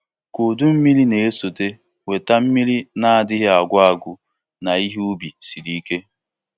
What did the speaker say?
Ka udummiri na-esote weta mmiri na-adịghị agwụ agwụ na ihe ubi siri ike.